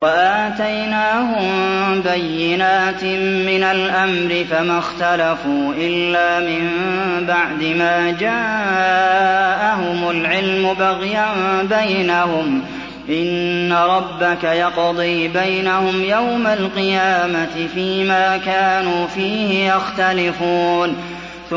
وَآتَيْنَاهُم بَيِّنَاتٍ مِّنَ الْأَمْرِ ۖ فَمَا اخْتَلَفُوا إِلَّا مِن بَعْدِ مَا جَاءَهُمُ الْعِلْمُ بَغْيًا بَيْنَهُمْ ۚ إِنَّ رَبَّكَ يَقْضِي بَيْنَهُمْ يَوْمَ الْقِيَامَةِ فِيمَا كَانُوا فِيهِ يَخْتَلِفُونَ